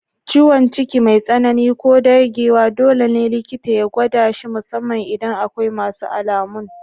Ciwon ciki mai tsanani ko dagewa dole ne likita ya gwada shi, musamman idan akwai wasu alamun